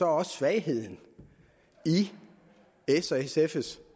også svagheden i s og sfs